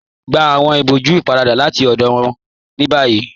Gbà awọn ìbọ̀jú ípáràdà láti ọdọ wọn ni bayí